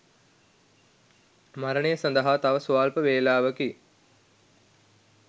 මරණය සදහා තව ස්වල්ප වේලාවකි.